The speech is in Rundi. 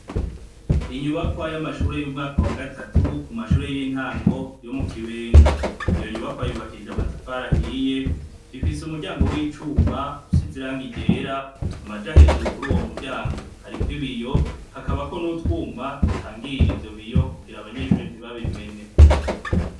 Inyubakwa y'amashure y'umwaka wa gatatu ku mashure y'intango yo mu kibenga. Iyo nyubakwa yubakishije amatafari ahiye ifise umuryango w'icuma usize irangi ryera ,amaja hejuru kur'uwo muryango hariko ibiyo hakabaho n'utwuma dutangira ivyo biyo kugira abanyeshure ntibabimene.